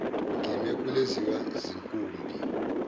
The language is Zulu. ngime kuleziya zinkumbi